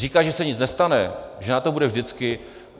Říkat, že se nic nestane, že na to bude vždycky...